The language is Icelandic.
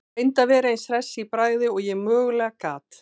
Reyndi að vera eins hress í bragði og ég mögulega gat.